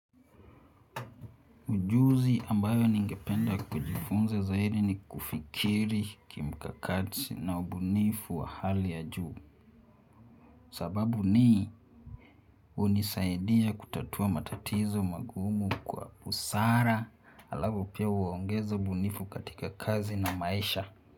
Ujuzi ambayo ningependa kujifunza zaidi ni kufikiri kimkakati na ubunifu wa hali ya juu. Sababu ni hunisaidia kutatua matatizo magumu kwa busara halafu pia huongeza ubunifu katika kazi na maisha.